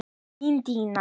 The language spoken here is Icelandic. Þín Danía.